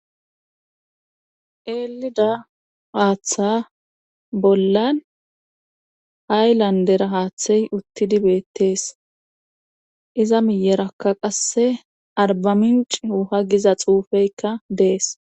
Elida haaththa bollan haylandera haaththey uttidi beettees iza miyerakka qasse arba minci oha giza xuufeykka dees